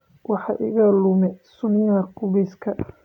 Waxa iga lumay sunniyaha qubeyska